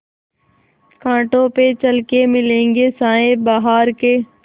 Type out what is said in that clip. कांटों पे चल के मिलेंगे साये बहार के